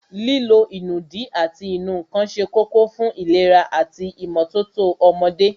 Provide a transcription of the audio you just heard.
Lílo ìnùdí ati ìnù ǹkan se kókó fún ìlera ati ìmótótó ọmọdé